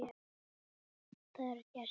Það eru gestir.